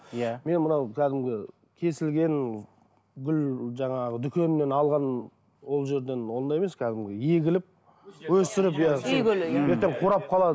иә мен мынау кәдімгі кесілген гүл жаңағы дүкенінен алған ол жерден ондай емес кәдімгі егіліп өсіріп ертең қурап қалады